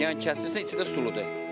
Yəni kəsirsən, içində suludur.